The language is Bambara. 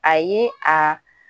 A ye a